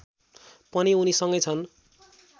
पनि उनीसँगै छन्